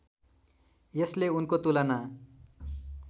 यसले उनको तुलना